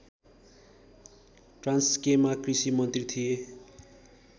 ट्रान्स्केमा कृषि मन्त्री थिए